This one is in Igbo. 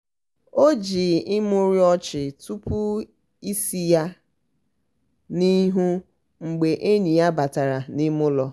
o jii imurimu ọchị tụpụ isi ya n'ihu mgbe enyi ya batara n'ime ụlọ.